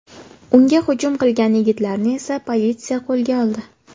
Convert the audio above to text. Unga hujum qilgan yigitlarni esa politsiya qo‘lga oldi.